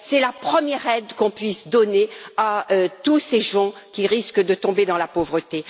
c'est la première aide que l'on puisse donner à tous ces gens qui risquent de tomber dans la pauvreté.